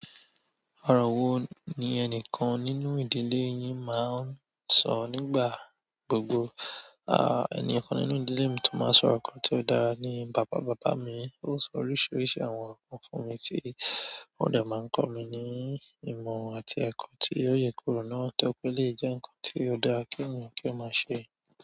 Ọrọ wo ni ẹnìkan nínú ìdílé yín máa ń sọ nígbà gbogbo. Ẹnikan nínú ìdílé mi tí o máa ń sọ̀rọ̀ kan tí ó dára ni baba mi. O sọ oríṣiríṣi àwọn ǹkan fún mi tí ó dẹ máa ń kọ mi ní ìmọ̀ àti ẹkọ tí o yekoro náà torí pé o dẹ jẹ ǹkan tí o dáa kí ènìyàn kó máa ṣe.